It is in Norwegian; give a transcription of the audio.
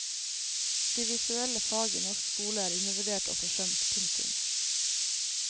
De visuelle fag i norsk skole er undervurdert og forsømt. punktum